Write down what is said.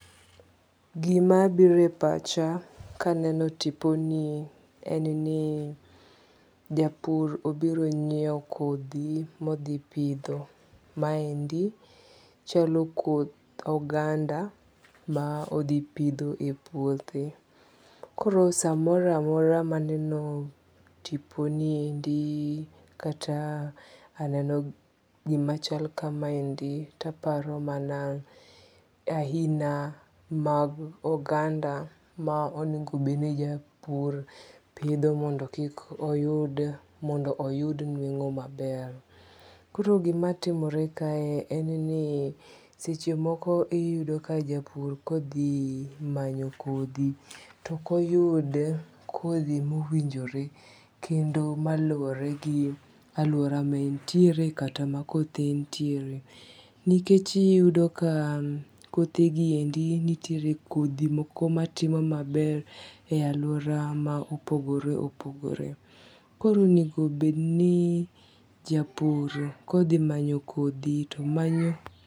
Gima biro e pacha kaneno tipo nie en ni japur obiro nyiew kodhi modhi pidho. Maendi chalo koth oganda ma odhi pidho e puothe. Koro samoro amora maneno tipo niendi kata aneno gima chal kamaendi to aparo mana ahina mag oganda ma onego bed ni japur pidho mondo kik oyud mondo oyud nueng'o maber. Koro gima timore kae en ni seche moko iyudo ka japur odhi manyo kodho to ok oyude kodhi mowinjore kendo maluwore gi aluora ma entiere kata ma kothe nitiere. Nikech iyudo ka kothe gi endi nitiere kodhi moko matimo maber e aluora ma opogore opogore. Koro onego bed ni japur kodhi manyo kodhi to manyo